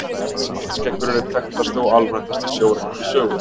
Svartskeggur er einn þekktasti og alræmdasti sjóræningi sögunnar.